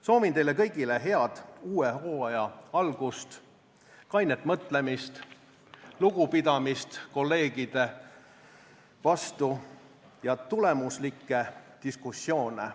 Soovin teile kõigile head uue hooaja algust, kainet mõtlemist, lugupidamist kolleegide vastu ja tulemuslikke diskussioone.